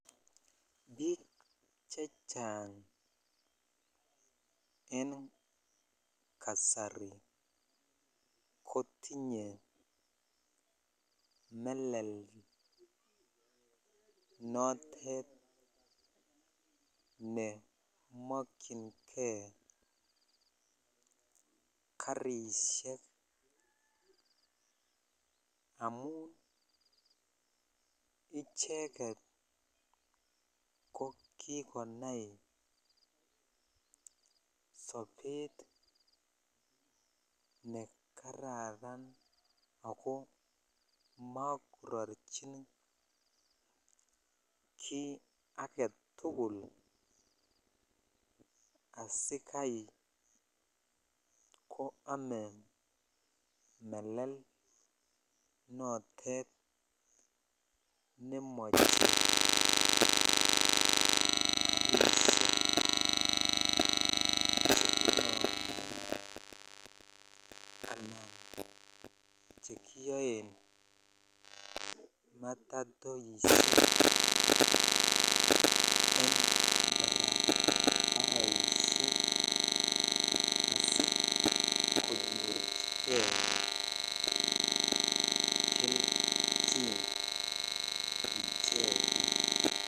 Biik chechang en kasari kotinye melel notet nemokyinkei karishek amun icheket ko kikonai sobet nekararan ako nakorochin kii aketukul asikai ko omee melel notet nemoche karishek chekiboisen alan chekiyoen matatoishek en barabaroshek keloisen asikonyorchikei kelchin ak ichek.